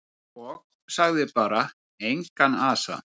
Og sagði bara: Engan asa.